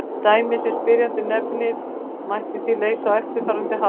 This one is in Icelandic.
Dæmið sem spyrjandi nefnir mætti því leysa á eftirfarandi hátt.